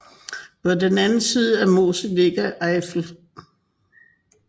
På den anden side af Mosel ligger Eifel